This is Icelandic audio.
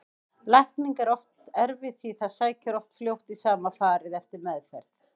Lækning er þó erfið því það sækir oft fljótt í sama farið eftir meðferð.